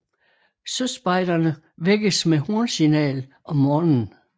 Søspejderne vækkes med homsignal om morgenen